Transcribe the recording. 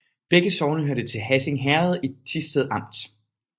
Begge sogne hørte til Hassing Herred i Thisted Amt